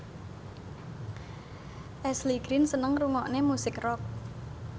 Ashley Greene seneng ngrungokne musik rock